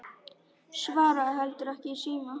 Svaraði heldur ekki í síma.